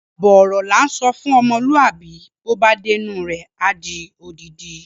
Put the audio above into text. Àbọ̀ ọ̀rọ̀ là ń sọ fún ọmọlúàbí bó bá dénú rẹ̀ á di odidi.